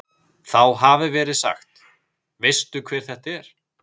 Þá hafi verið sagt: Veistu hver þetta er?